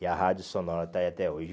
E a rádio sonora está aí até hoje.